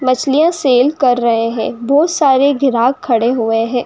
मछलीया सेल कर रहे है। बहुत सारे ग्राहक खड़े हुये है।